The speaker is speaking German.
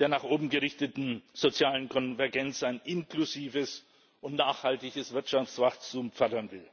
der nach oben gerichteten sozialen Konvergenz ein inklusives und nachhaltiges Wirtschaftswachstum fördern will?